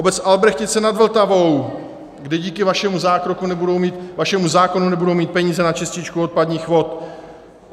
Obec Albrechtice nad Vltavou, kde díky vašemu zákonu nebudou mít peníze na čističku odpadních vod.